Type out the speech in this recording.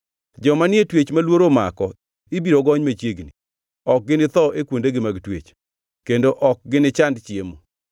Joma ni e twech ma luoro omako ibiro gony machiegni; ok ginitho e kuondegi mag twech kendo ok ginichand chiemo.